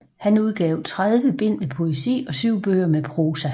Han udgav tredive bind med poesi og syv bøger med prosa